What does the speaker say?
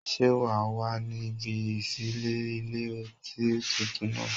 Ṣé́ wà á wà ní ibi ìṣílé ilé-ọtí tuntun náà?